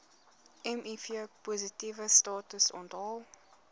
mivpositiewe status onthul